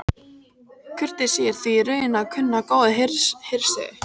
Kurteisi er því í raun að kunna góða hirðsiði.